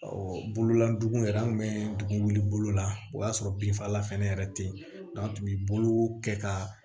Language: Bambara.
bololadugun yɛrɛ an kun bɛ dugu wuli bolo la o y'a sɔrɔ binfagalan fɛnɛ yɛrɛ tɛ yen an tun bɛ bolo kɛ ka